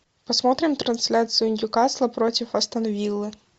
посмотрим трансляцию ньюкасла против астон виллы